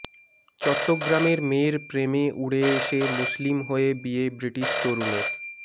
চট্টগ্রামের মেয়ের প্রেমে উড়ে এসে মুসলিম হয়ে বিয়ে ব্রিটিশ তরুণের